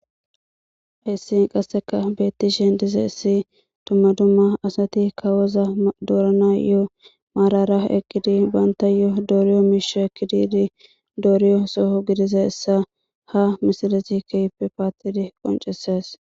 hissi qasseka beettishen dize issi tummadumma asati kawoza doorana yoo maarara ekidi banta yoo dooriyo miisha ekkididi dooriyo soho gidiza essa ha misilesi keype paatidi qonceses